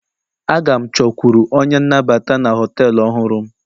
A ga m chọkwuru onye nnabata na họtelu ọhụrụ m